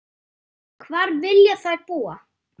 Hvar vilja þær búa?